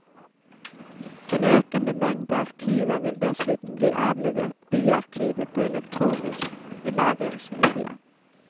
En økende mengde arkiver vil dessuten bli avlevert byarkivet på elektroniske lagringsmedia.